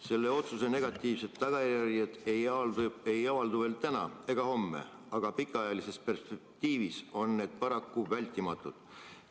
Selle otsuse negatiivsed tagajärjed ei avaldu veel täna ega homme, aga pikaajalises perspektiivis on paraku vältimatud.